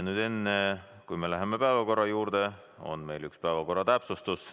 Enne kui me läheme päevakorra juurde, on meil üks päevakorra täpsustus.